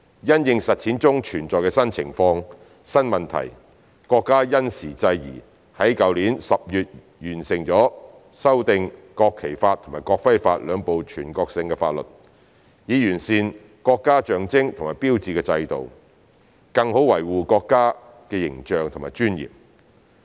因應實踐中存在的新情況、新問題，國家因時制宜，在去年10月完成修訂《國旗法》及《國徽法》兩部全國性法律，以完善國家象徵和標誌的制度，更好維護國家的形象和尊嚴。